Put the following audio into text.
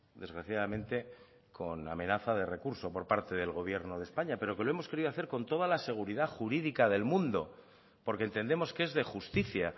desgraciadamente con la amenaza de recurso por parte del gobierno de españa pero que lo hemos querido hacer con toda la seguridad jurídica del mundo porque entendemos que es de justicia